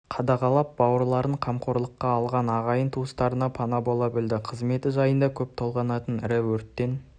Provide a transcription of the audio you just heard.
қадағалап бауырларын қамқорлыққа алған ағайын туыстарына пана бола білді қызметі жайында көп толғанатын ірі өрттен